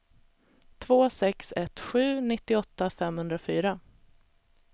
två sex ett sju nittioåtta femhundrafyra